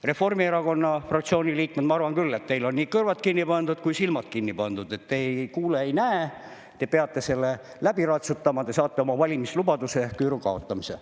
Reformierakonna fraktsiooni liikmed, ma arvan küll, et teil on nii kõrvad kinni pandud kui ka silmad kinni pandud, te ei kuule ega näe, te peate selle läbi ratsutama ja te saate oma valimislubaduse, küüru kaotamise.